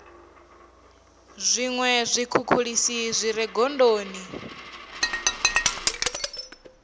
zwiṅwe zwikhukhulisi zwi re gondoni